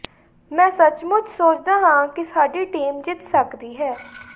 ਮੈਂ ਸੱਚਮੁੱਚ ਸੋਚਦਾ ਹਾਂ ਕਿ ਸਾਡੀ ਟੀਮ ਜਿੱਤ ਸਕਦੀ ਹੈ